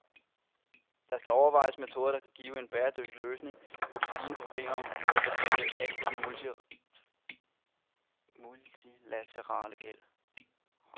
Der skal overvejes metoder, der kan give en bæredygtig løsning på de stigende problemer med at betale af på den multilaterale gæld.